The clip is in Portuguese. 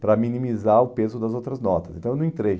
para minimizar o peso das outras notas, então eu não entrei.